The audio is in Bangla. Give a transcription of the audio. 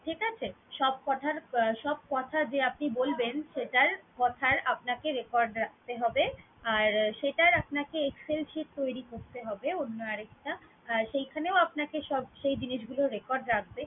ঠিক আছে? সব কথার~ সব কথা যে আপনি বলবেন সেটার কথার আপনাকে record রাখতে হবে আর সেটার আপনাকে Excel sheet তৈরি করতে হবে অন্য আরেকটা। আর সেখানেও আপনাকে সব সেই জিনিসগুলোর record রাখবে